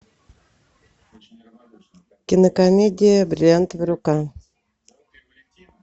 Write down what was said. кинокомедия бриллиантовая рука